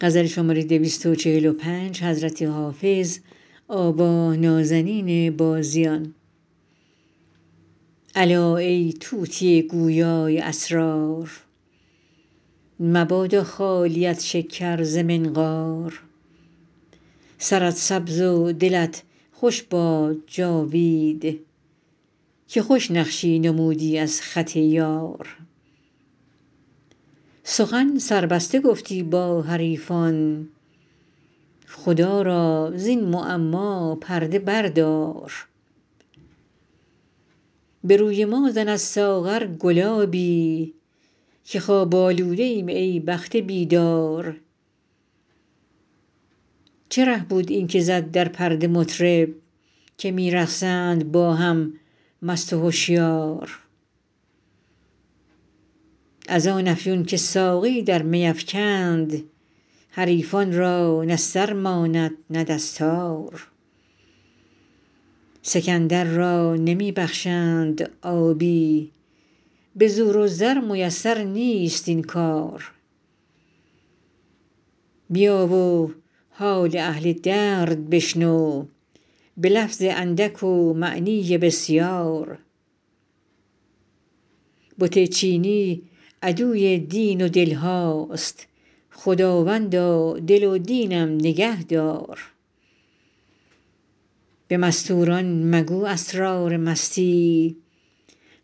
الا ای طوطی گویا ی اسرار مبادا خالیت شکر ز منقار سرت سبز و دلت خوش باد جاوید که خوش نقشی نمودی از خط یار سخن سربسته گفتی با حریفان خدا را زین معما پرده بردار به روی ما زن از ساغر گلابی که خواب آلوده ایم ای بخت بیدار چه ره بود این که زد در پرده مطرب که می رقصند با هم مست و هشیار از آن افیون که ساقی در می افکند حریفان را نه سر ماند نه دستار سکندر را نمی بخشند آبی به زور و زر میسر نیست این کار بیا و حال اهل درد بشنو به لفظ اندک و معنی بسیار بت چینی عدوی دین و دل هاست خداوندا دل و دینم نگه دار به مستور ان مگو اسرار مستی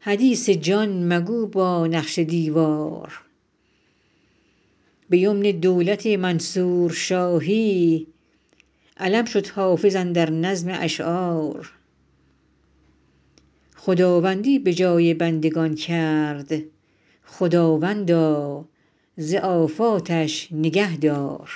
حدیث جان مگو با نقش دیوار به یمن دولت منصور شاهی علم شد حافظ اندر نظم اشعار خداوندی به جای بندگان کرد خداوندا ز آفاتش نگه دار